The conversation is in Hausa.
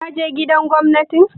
Ka je Gidan Gwamnatin?